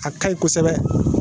A ka ɲi kosɛbɛ